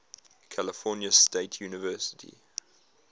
california state university